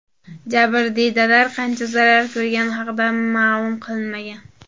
Jabrdiydalar qancha zarar ko‘rgani haqida ma’lum qilinmagan.